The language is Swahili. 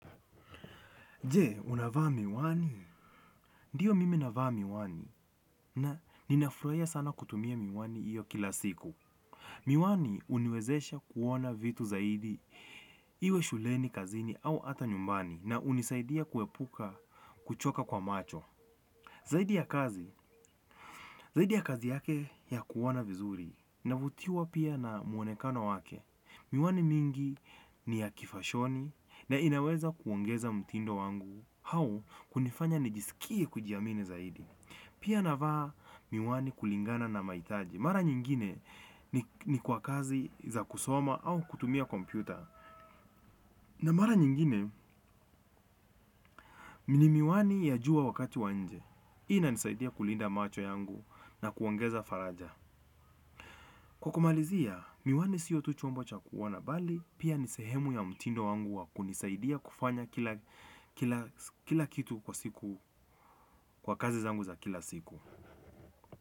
Je, unavaa miwani? Ndiyo mimi navaa miwani na ninafruaia sana kutumia miwani iyo kila siku. Miwani uniwezesha kuona vitu zaidi iwe shuleni kazini au ata nyumbani na unisaidia kuepuka kuchoka kwa macho. Zaidi ya kazi, zaidi ya kazi yake ya kuona vizuri. Navutiwa pia na muonekano wake. Miwani mingi ni ya kifashoni na inaweza kuongeza mtindo wangu. Hau kunifanya nijisikie kujiamini zaidi. Pia navaa miwani kulingana na maitaji. Mara nyingine ni kwa kazi za kusoma au kutumia kompyuta. Na mara nyingine, ni miwani ya jua wakati wa njee. Inanisaidia kulinda macho yangu na kuongeza faraja. Kwa kumalizia miwani siyo tu chombo cha kuonea bahali pia ni sehemu ya mtindo wangu wa kunisaidia kifunya kila kitu kwa siku kwa kazi zangu za siku.